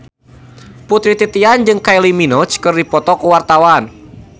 Putri Titian jeung Kylie Minogue keur dipoto ku wartawan